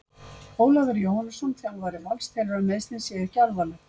Ólafur Jóhannesson, þjálfari Vals, telur að meiðslin séu ekki alvarleg.